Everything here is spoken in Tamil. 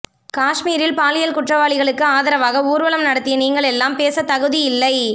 காஸ்மீரில் பாலியல் குற்றவாளிகளுக்கு ஆதரவாக ஊர்வலம் நடத்திய நீங்கள் எல்லாம் பேச தகுதி இல்லை